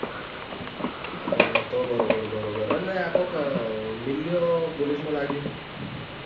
હા તો બરોબર બરોબર અને લ્યા કોક મીલ્યો police માં લાગ્યો.